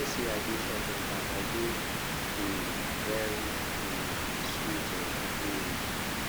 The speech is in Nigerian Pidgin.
say i dey short tempered i dey um very um sweet oo um